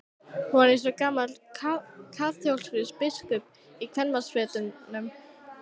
Hún var eins og gamall kaþólskur biskup í kvenmannsfötum.